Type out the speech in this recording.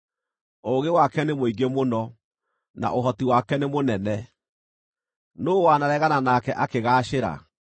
Ũũgĩ wake nĩ mũingĩ mũno, na ũhoti wake nĩ mũnene. Nũũ wanaregana nake akĩgaacĩra?